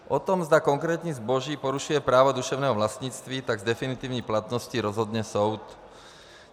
O tom, zda konkrétní zboží porušuje právo duševního vlastnictví, tak s definitivní platností rozhodne soud.